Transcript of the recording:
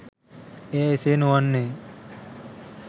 එය එසේ නොවන්නේ